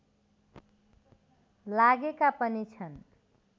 लागेका पनि छन्